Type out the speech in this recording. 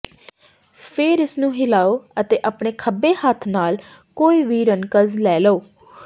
ਫੇਰ ਇਸਨੂੰ ਹਿਲਾਓ ਅਤੇ ਆਪਣੇ ਖੱਬੇ ਹੱਥ ਨਾਲ ਕੋਈ ਵੀ ਰਨਕਜ਼ ਲੈ ਲਓ